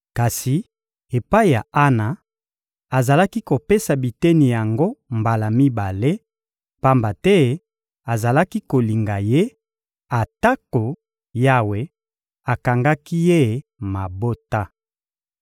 Kasi epai ya Ana, azalaki kopesa biteni yango mbala mibale, pamba te azalaki kolinga ye, atako Yawe akangaki ye mabota.